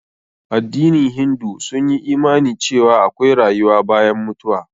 Addinin hindu sun yi imani cewa akwai rayuwa bayan mutuwa.